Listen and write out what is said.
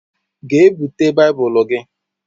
Gee búte baibulu gị!!!